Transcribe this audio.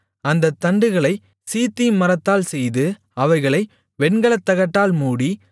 அந்தத் தண்டுகளைச் சீத்திம் மரத்தால் செய்து அவைகளை வெண்கலத்தகட்டால் மூடி